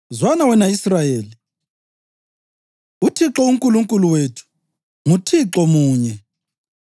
Zwana, wena Israyeli: UThixo uNkulunkulu wethu, nguThixo munye.